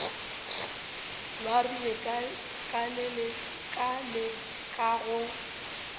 ba rile ka leka go